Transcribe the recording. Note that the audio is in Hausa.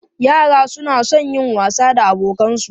Yara suna son yin wasa da abokansu.